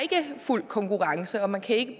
fuld konkurrence og man ikke